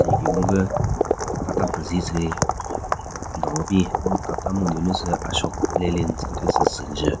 Tsü nyeki gungü Tata pezi tsü le don kebin lo tata mhyudyu nyu tsü Ashok Leyland tsü kethyu tsü zü njen.